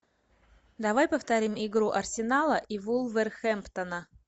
давай повторим игру арсенала и вулверхэмптона